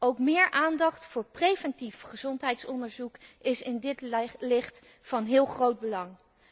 Ook meer aandacht voor preventief gezondheidsonderzoek is in dit licht van heel groot belang.